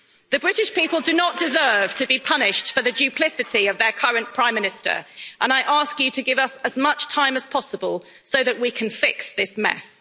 The British people do not deserve to be punished for the duplicity of their current Prime Minister, and I ask you to give us as much time as possible so that we can fix this mess.